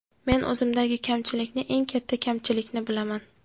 Men o‘zimdagi kamchilikni, eng katta kamchilikni bilaman.